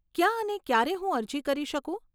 ક્યાં અને ક્યારે હું અરજી કરી શકું?